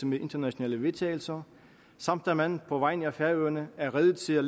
med internationale vedtagelser samt at man på vegne af færøerne er rede til at